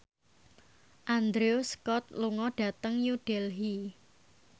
Andrew Scott lunga dhateng New Delhi